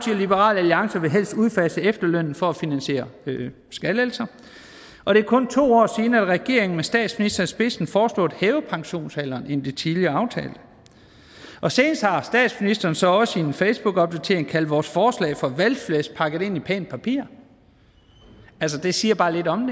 liberal alliance vil helst udfase efterlønnen for at finansiere skattelettelser og det er kun to år siden at regeringen med statsministeren i spidsen foreslog at hæve pensionsalderen i det tidligere aftalte og senest har statsministeren så også i en facebookopdatering kaldt vores forslag for valgflæsk pakket ind i pænt papir altså det siger bare lidt om